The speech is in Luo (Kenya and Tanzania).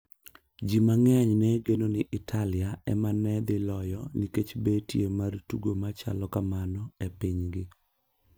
Ji mang'eny ne geno ni Italia ema ne dhi loyo nikech betie mar tugo machalo kamano e pinygi.